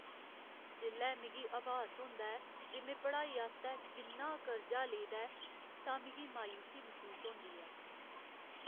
जेल्लै मिगी अभास होंदा ऐ जे में पढ़ाई आस्तै किन्ना कर्जा लेदा ऐ तां मिगी मायूसी मसूस होंदी ऐ ।